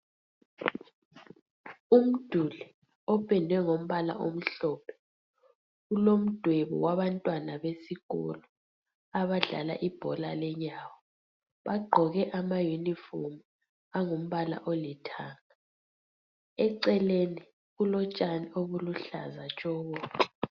Umduli opendwe ngombala omhlophe ulomdwebo wabantwana besikolo abadlala ibhola lenyawo bagqoke ama uniform angumbala olithanga eceleni kulotshani obuluhlaza tshoko.